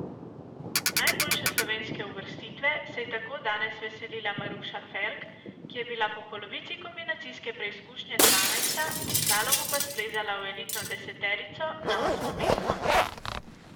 Najboljše slovenske uvrstitve se je tako danes veselila Maruša Ferk, ki je bila po polovici kombinacijske preizkušnje dvanajsta, v slalomu pa splezala v elitno deseterico, na osmo mesto.